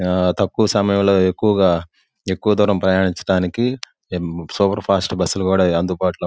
ఆ తక్కువ సమయం లో ఎక్కువగా ఎక్కువ దూరం ప్రయాణించడానికి సూపర్ ఫాస్ట్ బస్సు లు కూడా అందుబాటు లో--